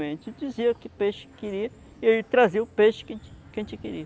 A gente dizia que peixe queria e ele trazia o peixe que a gente que a gente queria.